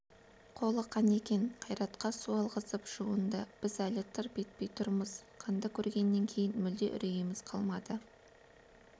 қолы қан екен қайратқа су алғызып жуынды біз әлі тырп етпей тұрмыз қанды көргеннен кейін мүлде үрейіміз қалмады